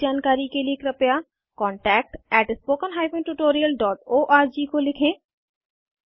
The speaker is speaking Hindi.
अधिक जानकारी के कृपया contactspoken tutorialorg को लिखें